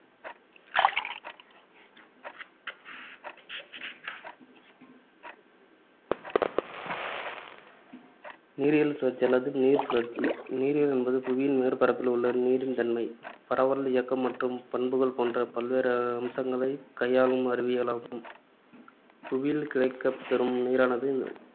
நீரியல் சுழற்சி அல்லது நீர் சுழற்சி நீரியல் என்பது புவியின் மேற்பரப்பில் உள்ள நீரின் தன்மை, பரவல், இயக்கம் மற்றும் பண்புகள் போன்ற பல்வேறு அம்சங்களைக் கையாளும் அறிவியலாகும். புவியில் கிடைக்கப்பெறும் நீரானது